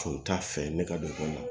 Foyi t'a fɛ ne ka don